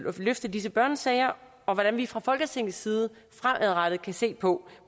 at løfte disse børnesager og hvordan vi fra folketingets side fremadrettet kan se på